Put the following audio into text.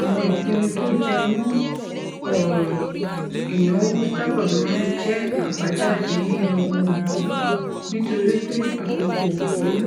àwọn ìpinnu tó jẹ mọ òràn ìnáwó sábà máa ń jẹ àbájáde yíyan ohun kan nítorí pé àkókò ò tó